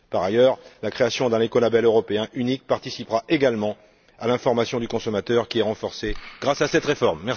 Par ailleurs, la création d'un écolabel européen unique participera également à l'information du consommateur, qui est renforcée grâce à cette réforme.